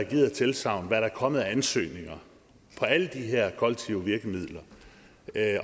givet af tilsagn hvad der er kommet af ansøgninger på alle de her kollektive virkemidler